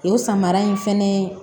O samara in fɛnɛ ye